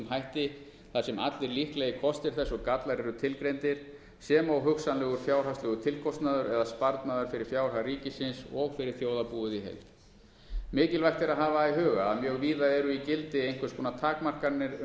hætti þar sem allir líklegir kostir þess og gallar eru tilgreindir sem og hugsanlegur fjárhagslegur tilkostnaður eða sparnaður fyrir fjárhag ríkisins og fyrir þjóðarbúið í heild mikilvægt er að hafa í huga að mjög víða eru í gildi einhvers konar takmarkanir um